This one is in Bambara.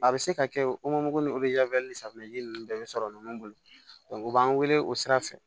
A bɛ se ka kɛ o ŋɔni safunɛji ninnu bɛɛ be sɔrɔ ɲɔgɔn bolo u b'an weele o sira fɛ